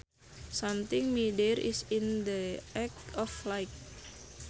Something midair is in the act of flight